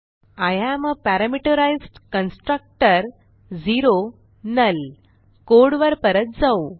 I am आ parameterized constructor null कोडवर परत जाऊ